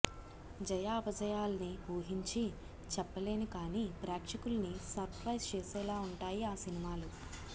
జయాపజయాల్ని ఊహించి చెప్పలేను కానీ ప్రేక్షకుల్ని సర్ప్రైజ్ చేసేలా ఉంటాయి ఆ సినిమాలు